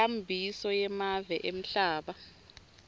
nenkhambiso yemave emhlaba